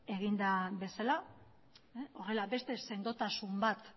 egin den bezala horrela beste sendotasun bat